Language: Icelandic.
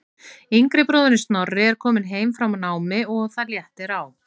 Yngri bróðirinn Snorri er kominn heim frá námi og það léttir á.